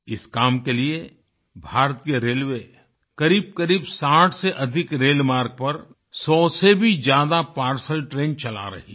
इस काम के लिए भारतीय रेलवे करीबकरीब 60 से अधिक रेल मार्ग पर 100 से भी ज्यादा पार्सेल ट्रेन चला रही है